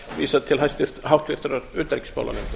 vísað til háttvirtrar utanríkismálanefndar